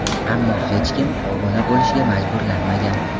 Ammo hech kim obuna bo‘lishga majburlanmagan.